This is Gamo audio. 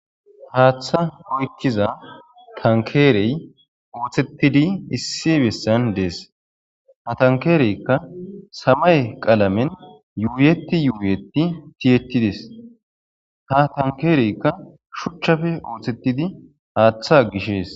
haaththa oyekkiza tankeerey uuthettidi issi bessan dees ha tankeereykka samay qalamen yuuiyeti yubiyeti tiyettides ha tankeereykka shuchchafe uuthettidi haaththa gishees